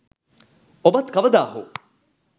ඔබත් කවදා හෝ